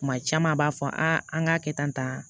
Kuma caman a b'a fɔ an ka kɛ tan tan